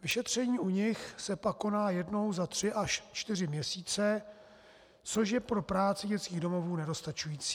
Vyšetření u nich se pak koná jednou za tři až čtyři měsíce, což je pro práci dětských domovů nedostačující.